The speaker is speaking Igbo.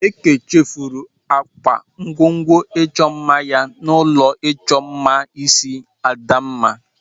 Eke chefuru akpa ngwongwo ịchọ mma ya n'ụlọ ịchọ mma isi Adamma.